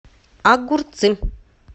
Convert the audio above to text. огурцы